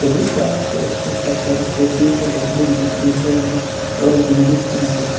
police वाला है उसके सर पर टोपी है बंदूक दिख रही है और एक लेडिस भी नजर आ --